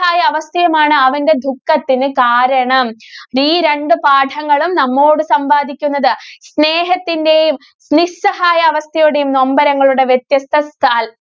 ഹായ അവസ്ഥയുമാണ് അവന്റെ ദുഃഖത്തിന് കാരണം. ഈ രണ്ട് പാഠങ്ങളും നമ്മോട് സംവാദിക്കുന്നത് സ്നേഹത്തിന്റെയും, നിസ്സഹായാവസ്ഥയുടെയും നൊമ്പരങ്ങളുടെ വ്യത്യസ്ത~